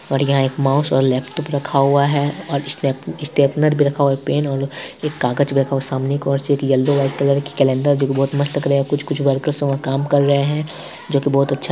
और यहाँ एक माउस और लैपटॉप रखा हुआ है और स्टेप-स्टेपलर भी रखा हुआ है एक पेन और एक कागज भी रखा हुआ है सामने एक और चीज़ येलो वाइट कलर की कैलेंडर जो की बहोत मस्त लग रहे है कुछ-कुछ वर्कर्स वहाँ काम कर रहे हैं जो की बहोत अच्छा --